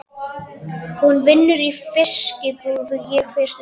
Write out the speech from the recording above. Hún vinnur í fiskbúð sem ég fer stundum í.